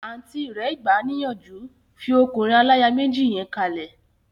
Àùntí rẹ̀ gbà níyànjú, 'fi ọkùnrin aláya méjì yẹn kalẹ̀'